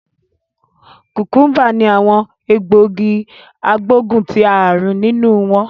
Kukumba ni awon egbogi agboguntiarun ninu won